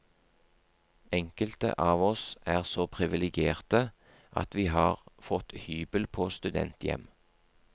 Enkelte av oss er så privilegerte at vi har fått hybel på studenthjem.